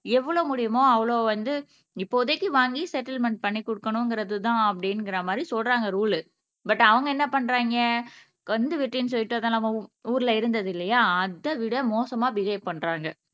எவ்வளவு முடியுமோ அவ்வளவு வந்து இப்போதைக்கு வாங்கி செட்டில்மென்ட் பண்ணி குடுக்கணும்ங்கிறதுதான் அப்படிங்கிற மாரி சொல்றாங்க ரூல் பட் அவங்க என்ன பண்றாங்க கந்து வட்டின்னு சொல்லிட்டு அதான் நம்ம ஊ ஊர்ல இருந்தது இல்லையா அதைவிட மோசமா பிஹவ் பண்றாங்க